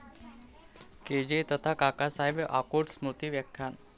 के.जे. तथा काकासाहेब आकूट स्मृती व्याख्यान